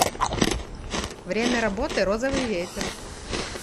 время работы розовый ветер